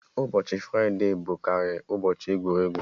Ụbọchị fride bụ karị ụbọchị egwuregwu